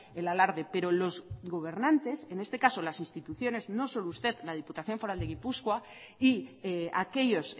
el alarde pero los gobernantes en este caso las instituciones no solo usted la diputación foral de gipuzkoa y aquellos